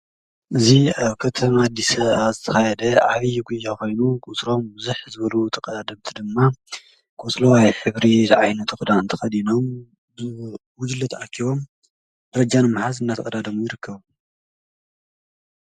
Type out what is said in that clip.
እዙ ኣብ ከተማዲሰ ኣተኻይደ ዓብዪ ጕ ኾይኑ ቊትሮም ዙኅ ዘበሉ ተቐደምቲ ድማ ጐጽሎዋይ ዕብሪ ዝዓይኒ ጥኽዳ እንተ ኸዲኖም ውጅለት ኣኪዎም ረጃን መሓዝ እናተቕዳደሙ ይርከቡ::